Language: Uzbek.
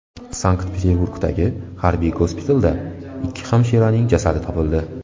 Sankt-Peterburgdagi harbiy gospitalda ikki hamshiraning jasadi topildi.